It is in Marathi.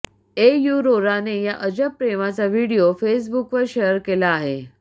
एयुरोराने या अजब प्रेमाचा व्हिडिओ फेसबुकवर शेअर केला आहे